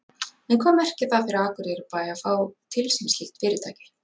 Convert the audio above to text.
En hvað merkir það fyrir Akureyrarbæ að fá til sín slíkt fyrirtæki?